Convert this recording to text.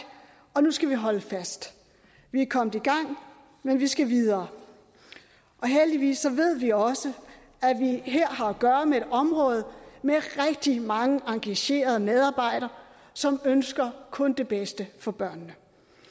og nu skal vi holde fast vi er kommet i gang men vi skal videre og heldigvis så ved vi også at vi her har at gøre med et område med rigtig mange engagerede medarbejdere som ønsker kun det bedste for børnene